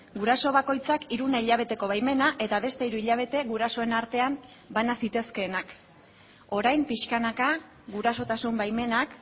guraso bakoitzak hiruna hilabeteko baimena eta beste hiru hilabete gurasoen artean bana zitezkeenak orain pixkanaka gurasotasun baimenak